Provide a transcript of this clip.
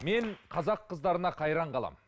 мен қазақ қыздарына қайран қаламын